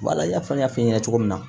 Wala i n'a fɔ n y'a f'i ɲɛna cogo min na